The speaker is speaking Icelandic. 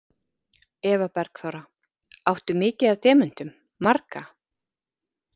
Eva Bergþóra: Áttu mikið af demöntum, marga?